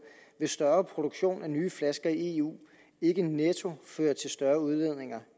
vil en større produktion af nye flasker i eu ikke netto føre til større udledninger